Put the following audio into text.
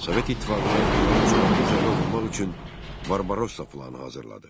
Sovet İttifaqına ildırım sürətli zərbə vurmaq üçün Barbarossa planı hazırladı.